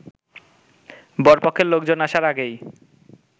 বর পক্ষের লোকজন আসার আগেই